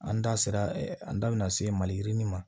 An da sera an da bɛna se maliyirini ma